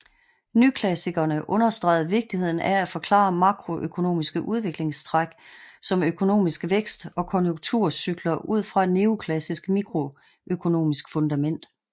Nyklassikerne understregede vigtigheden af at forklare makroøkonomiske udviklingstræk som økonomisk vækst og konjunkturcykler ud fra et neoklassisk mikroøkonomisk fundament